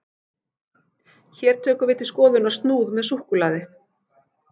Hér tökum við til skoðunar snúð með súkkulaði.